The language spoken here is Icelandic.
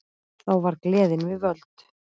Þá var gleðin við völd.